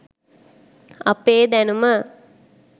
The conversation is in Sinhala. අපේ දැනුම